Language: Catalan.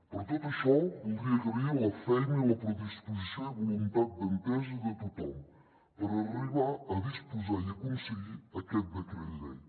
per tot això voldria agrair la feina i la predisposició i voluntat d’entesa de tothom per arribar a disposar i aconseguir aquest decret llei